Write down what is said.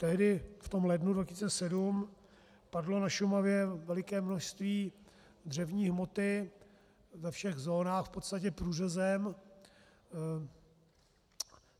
Tehdy v tom lednu 2007 padlo na Šumavě veliké množství dřevní hmoty ve všech zónách, v podstatě průřezem.